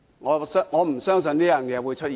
我不相信會出現這種情況。